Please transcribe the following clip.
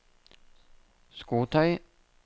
skotøy